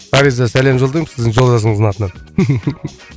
фариза сәлем жолдаймын сіздің жолдасыңыздың атынан